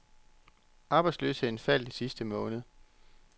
Arbejdsløsheden faldt i sidste måned.